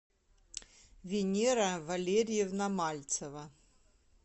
венера валерьевна мальцева